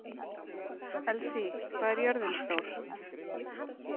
Elsí, hvað er jörðin stór?